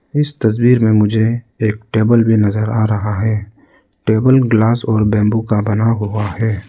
इस तस्वीर में मुझे एक टेबल भी नजर आ रहा है टेबल ग्लास और बंबू का बना हुआ है।